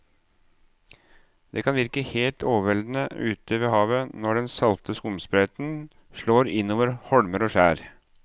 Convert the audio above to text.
Det kan virke helt overveldende ute ved havet når den salte skumsprøyten slår innover holmer og skjær.